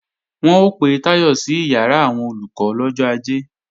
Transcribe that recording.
Wọ́n ó pe Táyọ̀ sí ìyàrá àwọn Olùkọ́ lọ́jọ́ Ajé